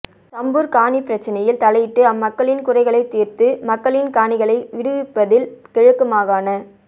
சம்பூர் காணிப் பிரச்சனையில் தலையிட்டு அம்மக்களின் குறைகளைத் தீர்த்து மக்களின் காணிகளை விடுவிப்பதில் கிழக்கு மாகாண